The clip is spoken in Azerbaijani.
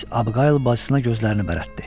Miss Abqayl bacısına gözlərini bərəltdi.